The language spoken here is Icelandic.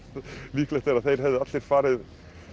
líklegt er að þeir hefðu allir farið